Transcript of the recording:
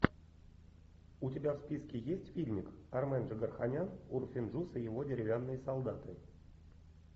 у тебя в списке есть фильмик армен джигарханян урфин джюс и его деревянные солдаты